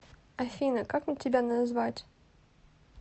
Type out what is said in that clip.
афина как мне тебя назвать